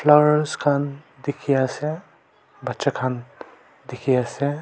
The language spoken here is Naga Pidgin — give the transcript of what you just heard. Ars khan dekhi ase bacha khan dekhi ase--